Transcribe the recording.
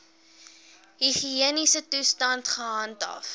higiëniese toestande gehandhaaf